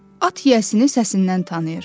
At yiyəsini səsindən tanıyır.